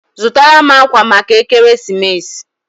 Zụtara m akwa maka ekeresimesi!